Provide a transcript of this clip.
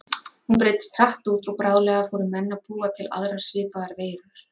Hún breiddist hratt út og bráðlega fóru menn að búa til aðrar svipaðar veirur.